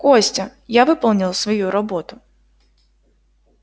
костя я выполнял свою работу